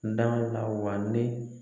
N da m'e la wa me